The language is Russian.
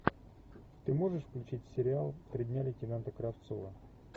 ты можешь включить сериал три дня лейтенанта кравцова